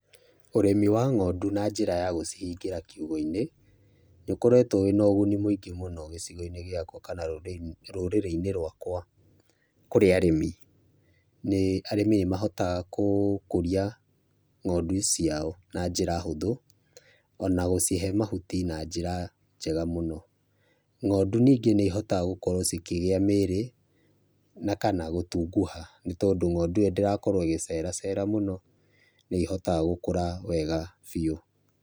Ũrĩmi wa ng'ondu na njĩra ya gũcihingĩra kiugũ-inĩ nĩ ũkoretwo wĩna ũguni mũingĩ mũno gĩcigo-inĩ gĩakwa kana rũrĩrĩ-inĩ rwakwa kũrĩ arĩmi, arĩmi nĩ mahotaga gũkũria ng'ondu ciao na njĩra hũthũ, ona gũcihe mahuti na njĩra njega mũno, ng'ondu ningĩ nĩihotaga gũkorwo cikĩgĩa mĩĩrĩ na kana gũtunguha, nĩ tondũ ng'ondu ndĩrakorwo ĩgĩceracera mũno, nĩihotaga gũkũra wega biũ.